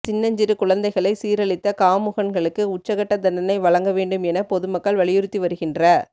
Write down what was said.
சின்னஞ்சிறு குழந்தைகளை சீரழித்த காமுகன்களுக்கு உச்சகட்ட தண்டனை வழக்க வேண்டும் என பொதுமக்கள் வலியுறுத்தி வருகின்ற